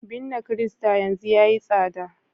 binne kirista yanzu yayi tsada